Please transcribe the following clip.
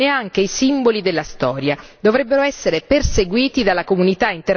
Dovrebbero essere perseguiti dalla comunità internazionale come criminali di guerra.